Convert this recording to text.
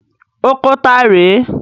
Oko ta rè é?